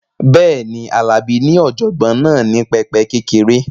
Bẹ́ẹ̀ni, Alabi ní ọ̀jọ̀gbọ́n náà ní pẹpẹ kékeré